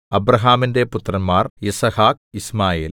അബ്രാഹാമിന്റെ പുത്രന്മാർ യിസ്ഹാക്ക് യിശ്മായേൽ